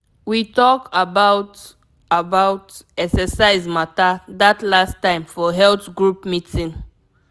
we talk about about exercise matter that last time for health group meeting.